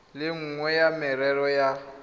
le nngwe ya merero ya